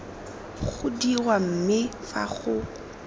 go dirwa mme fa go